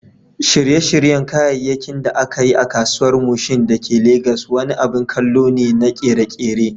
Shirye-shiryen kayayyakin da aka yi a Kasuwar Mushin da ke Legas wani abin kallo ne na ƙere-ƙere.